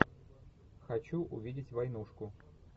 хочу увидеть войнушку